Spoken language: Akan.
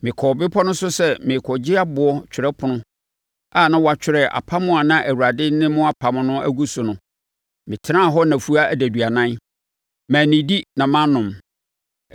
Mekɔɔ bepɔ no so sɛ merekɔgye aboɔ twerɛpono a na wɔatwerɛ apam a na Awurade ne mo apam no agu so no, metenaa hɔ nnafua aduanan. Mannidi na mannom.